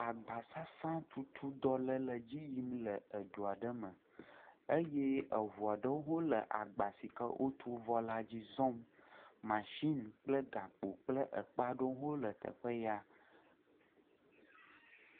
Agbasasãtutu dɔ ɖe le edzi yim le dua ɖe me eye eʋua ɖeo le agba sike wotu vɔ la dzi zɔm. Mashin kple gakpo kple ekpaɖo hã wole teƒe ya.